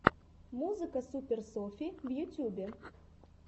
музыка супер софи в ютьюбе